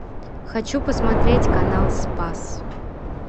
хочу посмотреть канал спас